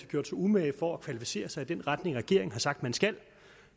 gjort sig umage for at kvalificere sig i den retning regeringen har sagt man skal